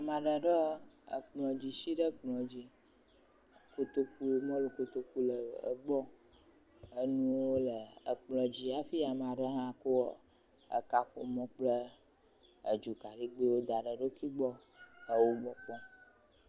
Ame aɖe ɖɔ ekplɔdzi si ɖe kplɔ dzi, kotokuwo, mɔlu kotoku le gbɔ. Enuwo le ekplɔ dzi hafi amea ɖe hã kɔ ekaƒomɔ kple edzo kaɖigbɛwo da ɖe eɖokui gbɔ, ewo me kpɔm.